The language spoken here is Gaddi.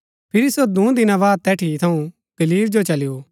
फिरी सो दूँ दिना बाद तैठी थऊँ गलील जो चली गो